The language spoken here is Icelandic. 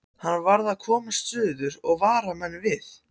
Hann varð að komast suður og vara menn við.